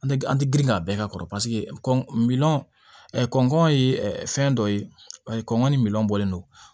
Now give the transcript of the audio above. An tɛ an tɛ girin ka bɛɛ k'a kɔrɔ paseke kɔn min ye fɛn dɔ ye kɔngɔn ni minɔn bɔlen don